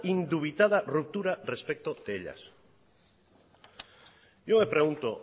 indubitada ruptura respecto de ella yo me pregunto